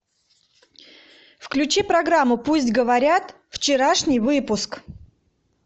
включи программу пусть говорят вчерашний выпуск